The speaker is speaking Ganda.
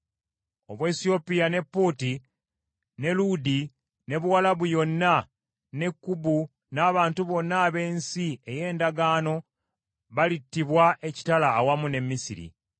Obuwesiyopya, ne Puuti , ne Luudi ne Buwalabu yonna, ne Kubu n’abantu bonna ab’ensi ey’endagaano balittibwa ekitala awamu ne Misiri.